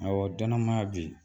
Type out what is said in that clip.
Ɔwɔ danamaa bɛ yen